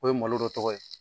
O ye malo dɔ tɔgɔ ye.